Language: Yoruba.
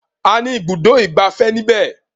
A ní ibùdó ìgbafẹ́ ní ibẹ̀.